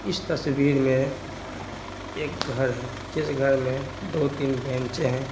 इस तस्वीर में एक घर है जिस घर में दो-तीन बेंच हैं ।